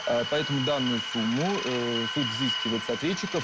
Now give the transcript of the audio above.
поэтому данную сумму суд взыскивает с ответчиков